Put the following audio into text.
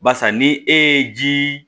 Barisa ni e ye ji